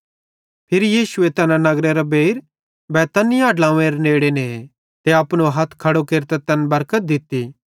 फिरी यीशुए तैना नगरेरे बेइर बैतनिय्याह ड्लोंव्वेरे नेड़े ने ते अपनो हथ खड़ो केरतां तैन बरकत दित्ती